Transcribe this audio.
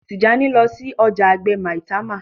Tijani ló sí ọjà àgbè Maitama